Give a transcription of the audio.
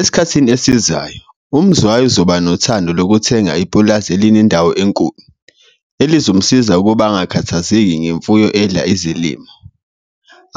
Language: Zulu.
Esikhathini esizayo uMzwayi waba nothando lokuthenga ipulazi elinendawo enkulu, elizomsiza ukuba angakhathazeki ngemfuyo edla izilimo.